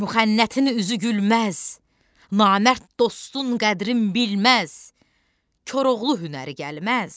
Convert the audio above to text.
Müxənnətin üzü gülməz, namərd dostun qədrini bilməz, Koroğlu hünəri gəlməz.